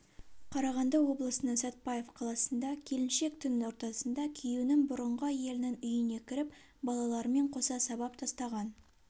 қарағанды облысының сәтпаев қаласында келіншек түн ортасында күйеуінің бұрынғы әйелінің үйіне кіріп балаларымен қоса сабап тастаған